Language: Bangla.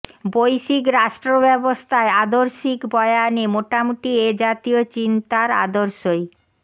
বৈশ্বিক রাষ্ট্রব্যবস্থায় আদর্শিক বয়ানে মোটামুটি এ জাতীয় চিন্তার আদর্শই